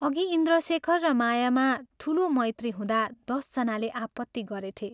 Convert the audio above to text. अघि इन्द्रशेखर र मायामा ठूलो मैत्री हुँदा दश जनाले आपत्ति गरेथे।